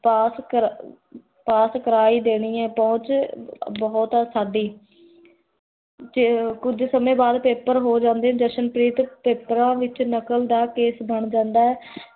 ਪਾਸ pass ਕਰਾ ਹੀ ਦੇਨੀ ਹੈ ਪੋਹੋੰਚ ਬੋਹਤ ਹੈ ਸਾਡੀ ਕੁਝ ਸਮੇ ਬਾਦ paper ਹੋ ਜਾਂਦੇ ਜਸ਼ਨਪ੍ਰੀਤ ਦਾ ਪੇਪਰਾਂ ਵਿਚ ਨਕਲ ਦਾ ਕੇਸ ਬਣ ਜੰਦਾ ਹੈ l